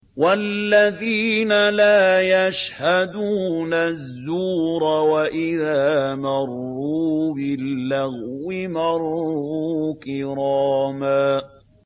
وَالَّذِينَ لَا يَشْهَدُونَ الزُّورَ وَإِذَا مَرُّوا بِاللَّغْوِ مَرُّوا كِرَامًا